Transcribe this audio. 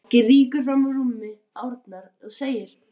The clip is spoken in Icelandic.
Ásgeir rýkur fram úr rúmi Árna og segir